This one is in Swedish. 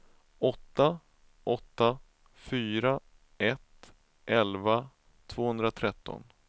åtta åtta fyra ett elva tvåhundratretton